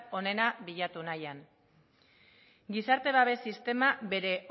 onena bilatu nahian gizarte babes sistema bere